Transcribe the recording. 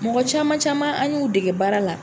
Mɔgɔ caman caman an y'u dege baara la.